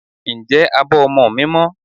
Ǹjẹ́ abọ́ ọmọ mi mọ́?